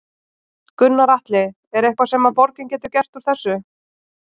Gunnar Atli: Er eitthvað sem að borgin getur gert úr þessu?